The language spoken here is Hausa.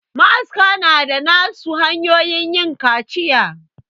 Ma aska na da na su hanyoyin yin kaciya